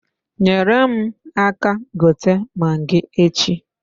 Nyere m aka gote magi echi.